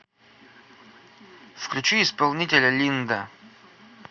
включи исполнителя линда